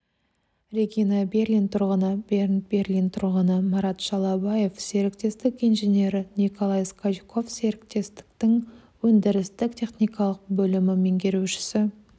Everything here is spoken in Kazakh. регина берлин тұрғыны бернт берлин тұрғыны марат шалабаев серіктестік инженері николай скачков серіктестіктің өндірістік-техникалық бөлімі меңгерушісі